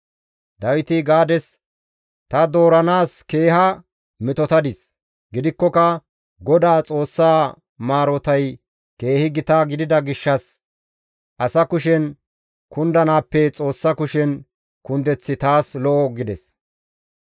Dawiti Gaades, «Ta dooranaas keeha metotadis; gidikkoka Godaa Xoossa maarotay keehi gita gidida gishshas asa kushen kundanaappe Xoossa kushen kundeththi taas lo7o» gides.